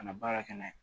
Ka na baara kɛ n'a ye